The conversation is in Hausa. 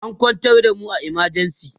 an kwantar da mu a emergency